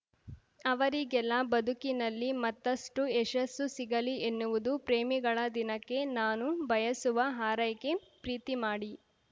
ಅವರಿಗೆಲ್ಲ ಬದುಕಿನಲ್ಲಿ ಮತ್ತಷ್ಟುಯಶಸ್ಸು ಸಿಗಲಿ ಎನ್ನುವುದು ಪ್ರೇಮಿಗಳ ದಿನಕ್ಕೆ ನಾನು ಬಯಸುವ ಹಾರೈಕೆ ಪ್ರೀತಿ ಮಾಡಿ